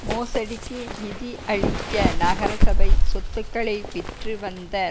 மோசடிக்கு நிதி அளிக்க நகரசபை சொத்துக்களை விற்று வந்த